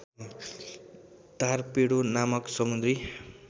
torpedo नामक समुद्री